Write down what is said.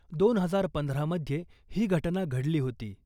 दोन हजार पंधरा मध्ये ही घटना घडली होती .